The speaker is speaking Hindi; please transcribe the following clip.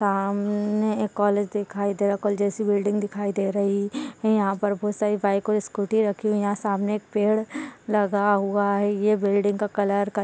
सामने एक कॉलेज दिखाई दे रहा है कॉलेज जैसी बिल्डिंग दिखाई दे रही है यहाँ पर बहोत सारी बाइक और स्कूटी रखी हुई है यहाँ सामने एक पेड़ लगा हुआ है ये पेड़ का कलर का --